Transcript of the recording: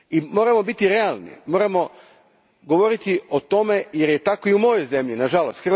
Moramo biti realni, moramo govoriti o tome jer je tako i u mojoj zemlji, na žalost.